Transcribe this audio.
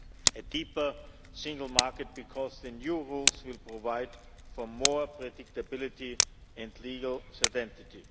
A deeper single market, because the new rules will provide for more predictability and legal certainty.